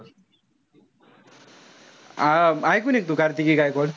हा इकून ए तू कार्तिकी गायकवाड?